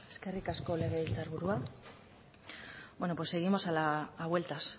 eskerrik asko legebiltzarburua bueno pues seguimos a vueltas